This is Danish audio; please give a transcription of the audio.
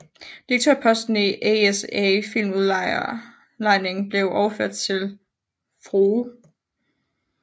Direktørposten i ASA Filmudlejning blev overtaget af Fr